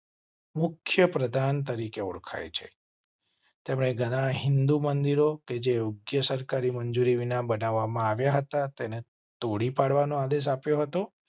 મુખ્યપ્રધાન તરીકે ઓળખાય છે. તેમને ઘણાં હિંદુ મંદિરો કે જે ઊગ્યા સરકારી મંજૂરી વિના બનાવવા માં આવ્યા હતા. તેને તોડી પાડવા નો આદેશ આપ્યો હતો.